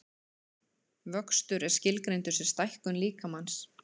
Vöxtur er skilgreindur sem stækkun líkamans.